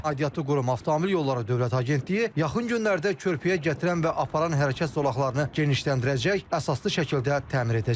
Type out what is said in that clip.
Aidiyyatlı qurum Avtomobil Yolları Dövlət Agentliyi yaxın günlərdə körpüyə gətirən və aparan hərəkət zolaqlarını genişləndirəcək, əsaslı şəkildə təmir edəcək.